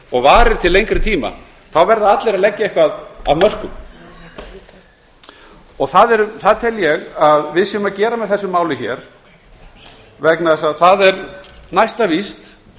og varir til lengri tíma þá verða allir að leggja eitthvað af mörkum og það tel ég að við séum að gera með þessu máli vegna þess að það er næsta víst